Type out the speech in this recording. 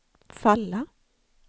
falla